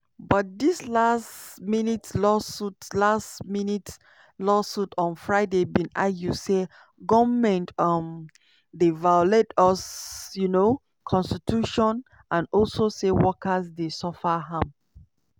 but dis last-minute lawsuit last-minute lawsuit on friday bin argue say goment um dey violate us um constitution and also say workers dey suffer harm.